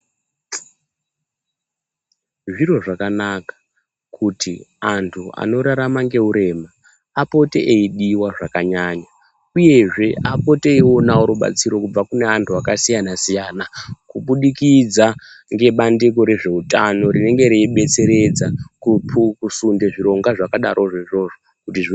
Zviro zvakanaka kuti antu anorarama neurema apote eidiwa zvakanyanya uye zve apote eionawo rubatsiro kubva kuantu akasiyana -siyana kuburikidza ngebandiko rezveutano rinenge reibetseredza kusunda zvirongwa zvakadai ngeizvozvo kuti zvi.